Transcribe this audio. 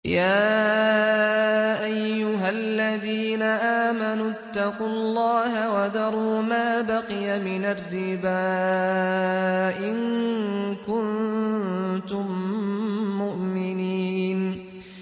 يَا أَيُّهَا الَّذِينَ آمَنُوا اتَّقُوا اللَّهَ وَذَرُوا مَا بَقِيَ مِنَ الرِّبَا إِن كُنتُم مُّؤْمِنِينَ